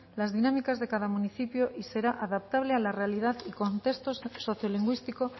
las dinámicas de cada municipio y será adaptable a la realidad y contexto sociolingüístico